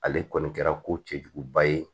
Ale kɔni kɛra ko cɛjuguba ye